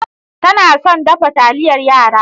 Tana son dafa taliyar yara.